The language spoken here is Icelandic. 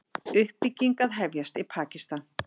Uppbygging að hefjast í Pakistan